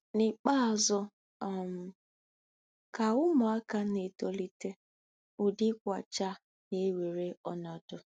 N'ikpeazụ um, ka ụmụaka na-etolite, ụdị ịkwachaa na-ewere ọnọdụ.